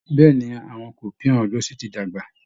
Bẹ́ẹ̀ ni, àwọn kipniún ọjọ́sí ti dàgbà